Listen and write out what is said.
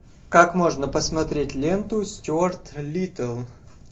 как можно посмотреть ленту стюарт литтл